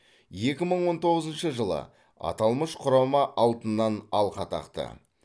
екі мың он тоғызыншы жылы аталмыш құрама алтыннан алқа тақты